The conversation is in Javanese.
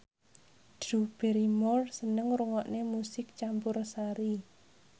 Drew Barrymore seneng ngrungokne musik campursari